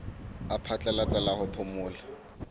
la phatlalatsa la ho phomola